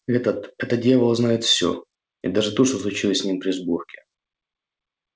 этот этот дьявол знает всё и даже то что случилось с ним при сборке